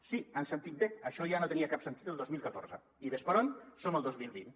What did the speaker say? sí ho han sentit bé això ja no tenia cap sentit el dos mil catorze i ves per on som al dos mil vint